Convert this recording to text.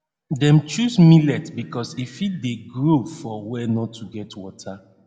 dem chose millet because e fit dey grow for were nor too get water